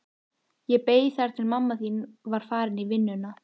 Ég beið þar til mamma þín var farin í vinnuna.